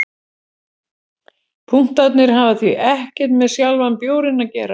Punktarnir hafa því ekkert með sjálfan bjórinn að gera.